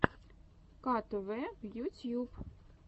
ктв ютьюб